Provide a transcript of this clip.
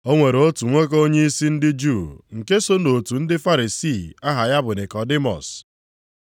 O nwere otu nwoke onyeisi ndị Juu nke so nʼotu ndị Farisii aha ya bụ Nikọdimọs.